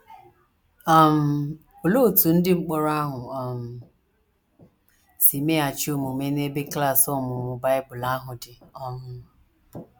um Olee otú ndị mkpọrọ ahụ um si meghachi omume n’ebe klas ọmụmụ Bible ahụ dị um?